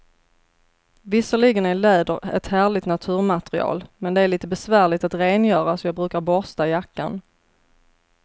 Visserligen är läder ett härligt naturmaterial, men det är lite besvärligt att rengöra, så jag brukar borsta jackan.